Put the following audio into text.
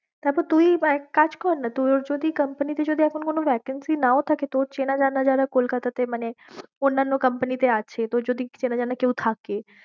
তারপর তুই বা একটা কাজ কর না, তোর যদি company তে যদি এখন কোনো vacancy নাও থাকে, তোর চেনাজানা যারা কলকাতা তে মানে অন্যানো company তে আছে, তোর যদি চেনাজানা কেউ থাকে